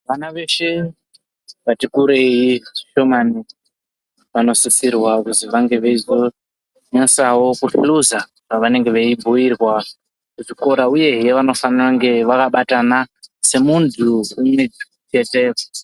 Vana veshe vati kurei zvishomani vanosirwa kuzi vange veinyasowo kuhluza pavanenge veibhuirwa kuchikora. Uyehe, vanofana kunge vakabatana semuntu gumi yese